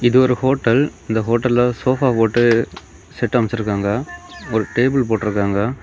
இது ஒரு ஹோட்டல் இந்த ஹோட்டல்ல சோபா போட்டு செட் அமச்சிருக்காங்க ஒரு டேபிள் போட்ருக்காங்க.